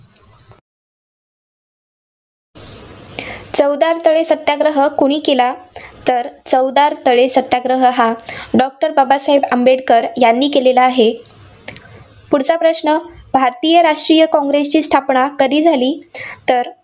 चवदार तळे सत्याग्रह कुणी केला? तर चवदार तळे सत्याग्रह हा doctor बाबासाहेब आंबेडकर यांनी केलेला आहे. पुढचा प्रश्न भारतीय राष्ट्रीय काँग्रेसची स्थापना कधी झाली? तर